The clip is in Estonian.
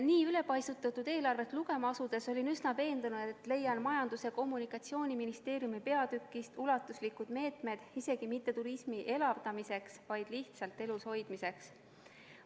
Nii ülepaisutatud eelarvet lugema asudes olin üsna veendunud, et leian Majandus- ja Kommunikatsiooniministeeriumi peatükist ulatuslikud meetmed mitte küll turismi elavdamiseks, vaid lihtsalt elushoidmiseks.